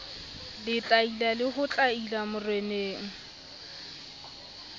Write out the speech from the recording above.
letlaila le ho tlaila moreneng